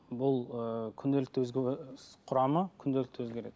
бұл ыыы күнделікті құрамы күнделікті өзгереді